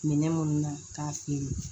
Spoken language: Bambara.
Minɛn minnu na k'a feere